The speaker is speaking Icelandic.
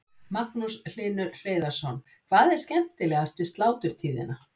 Magnús Hlynur Hreiðarsson: Hvað er skemmtilegast við sláturtíðina?